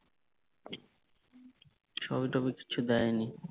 ছবি টবি কিছু দেয়নি